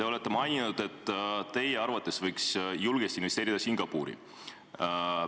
Te olete maininud, et teie arvates võiks julgesti Singapuri investeerida.